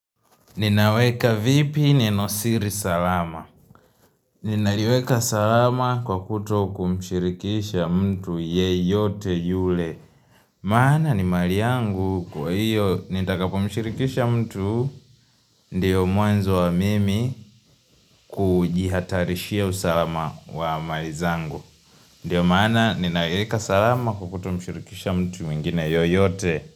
Ninaweka vipi ninosiri salama. Ninaweka salama kwa kuto kumshirikisha mtu yeyote yule. Mana ni mali yangu kwa hiyo nitakapo mshirikisha mtu ndiyo mwanzo wa mimi kujihatarishia usalama wa mali zangu. Ndiyo mana ninaweka salama kwa kuto mshirikisha mtu mingine yoyote.